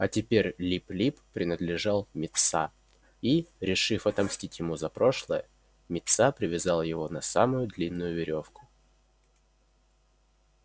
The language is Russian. а теперь лип лип принадлежал митса и решив отомстить ему за прошлое митса привязал его на самую длинную верёвку